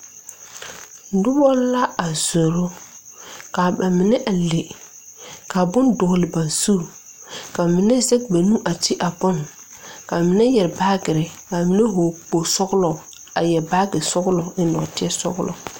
Nobɔ la a zoro ka ba mine a le ka bon dɔɔle ba zu ka mine zege ba nu a de a bin kaa minevyɛre baagirre kaa mine hɔɔle kpogle sɔglɔ a yɛre baagi sɔglɔ a eŋ nɔɔte sɔglɔ.